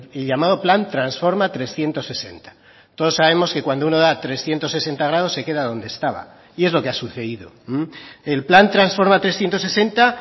el llamado plan transforma trescientos sesenta todos sabemos que cuando uno da trescientos sesenta grados se queda donde estaba y es lo que ha sucedido el plan transforma trescientos sesenta